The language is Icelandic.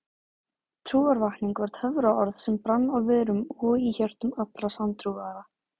Trúarvakning var töfraorð sem brann á vörum og í hjörtum allra sanntrúaðra.